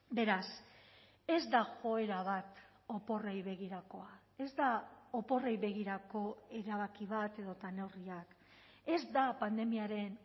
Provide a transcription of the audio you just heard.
beraz ez da joera bat oporrei begirakoa ez da oporrei begirako erabaki bat edota neurriak ez da pandemiaren